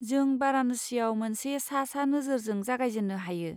जों बाराणसियाव मोनसे सा सा नोजोरजों जागायजेन्नो हायो।